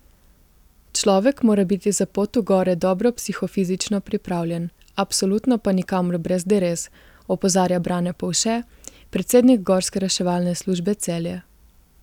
Človek mora biti za pot v gore dobro psihofizično pripravljen, absolutno pa nikamor brez derez, opozarja Brane Povše, predsednik Gorske reševalne službe Celje.